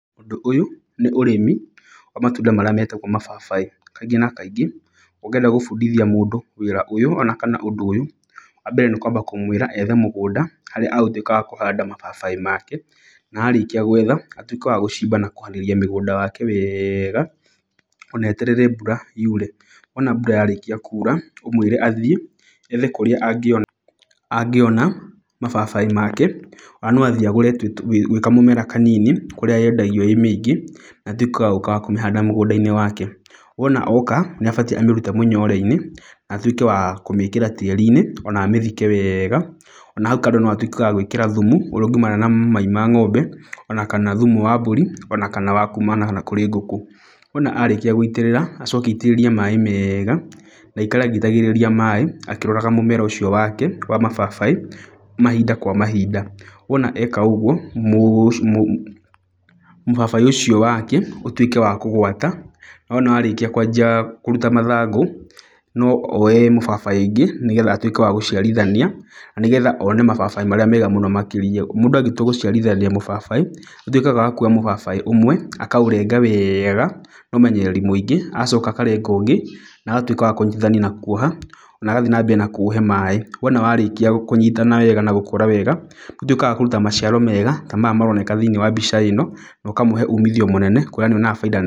Ŭndŭ ŭyŭ, nĩ ŭrĩmi wa matŭnda marĩa metagwo mababaĩ. Kaingĩ na kaingĩ, ŭngĩenda gŭbŭdithia mŭndŭ wĩĩra ŭyŭ ona kana ŭndŭ ŭyŭ, wambere nĩ kwamba kŭmwĩra ethe mŭgŭnda harĩa agŭtŭĩka wa kŭhada mababaĩ make na arĩkia gwetha atŭĩke wa gŭcimba na kŭharĩrĩria mŭgŭda wake weega, na eterere mbŭra yŭre. Wona mbŭra yarĩkia kŭŭra ŭmwĩre athiĩ ethe kŭrĩa angĩona mababaĩ make ona no athiĩ agŭre wĩ kamŭmera kanini kŭrĩa yedagio ĩ mĩingĩ atŭike wa gŭŭka na kŭmĩhada mŭgŭdainĩ wake wona oka nĩabatie amĩrŭte mŭnyoreinĩ atŭĩje wa kŭmĩkĩra tĩĩriine ona amĩthike weega, ona haŭ kando no atŭike wa gwĩkĩra thŭmŭ ŭrĩa ŭngiumana na mai ma ng'ombe onakana thŭmŭ wa mbŭri onakana wa kumana na kŭrĩ ngŭkŭ. Wona arĩkia gŭitĩrĩra acoke aitĩrĩrie maĩ mega na aikare agĩitagĩrĩria maĩ akĩroraga mŭmera ŭcio wake wa mababaĩ mahinda kwa mahinda . Wona eka ŭgŭo mŭbabaĩ ŭcio wake ŭtŭĩke wa kŭgwata na wona arĩkia kwajia kŭrŭta mathangŭ no oe mĩbabaĩ ĩngĩ nĩ getha atŭĩke wa gŭciarithania na nĩgetha one mababaĩ marĩa mega mŭno makĩria . Mŭndŭ angĩtŭa gŭciarithania mŭbabaĩ nĩatŭĩkaga wa kŭoya mŭbabaĩ ŭmwe akaŭrenga wega na ŭmenyereri mŭingĩ agacoka akarenga ŭngĩ na agatŭĩka wa kŭnyitithani ka kŭoha na agathi nambere na kŭŭhe maĩ, wona warĩkia kŭnyitana wega na gŭkŭra wega ŭtŭĩkaga wa kŭrŭta maciaro mega ta maya maroneka thĩinĩ wa mbica ĩno, na ŭkamŭhe ŭmithio mŭnene kŭrĩa nĩarĩonaga baida nene.